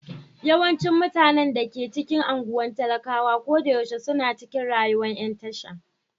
Yawancin mutanen da ke cikin anguwan talakawa koyaushe suna cikin rayuwan yan tasha.